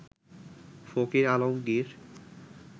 Fakir Alamgir